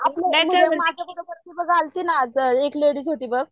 माझे बरोबर अली होती बघ एक लेडीज होती बघ